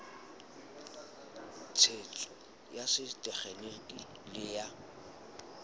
tshetso ya setekgeniki le ya